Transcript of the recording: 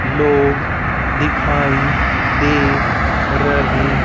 लोग दिखाई दे रहे--